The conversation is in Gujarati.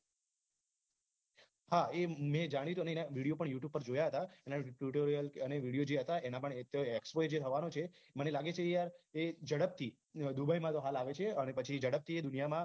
હા મેં જાણીતોની ને video પણ youtube પર જોયા હતા એના tutorial અને video જે હતા ને એના પણ એવું કે જે expo જે થવાનું છે મને લાગે છે એ યાર જડપ થી dubai માં હાલ આવે છે ને અને પછી જડપથી દુનિયા માં